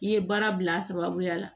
I ye baara bila a sababuya la